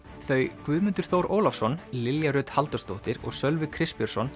þau Guðmundur Þór Ólafsson Lilja Rut Halldórsdóttir og Sölvi